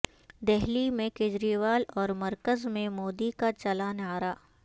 دہلی میں کیجریوال اور مرکزمیں مودی کا چلا نعرہ